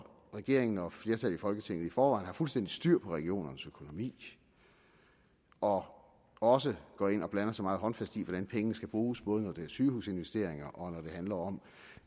regeringen og flertallet i folketinget i forvejen har fuldstændig styr på regionernes økonomi og også går ind og blander sig meget håndfast i hvordan pengene skal bruges både når det er sygehusinvesteringer og når det handler om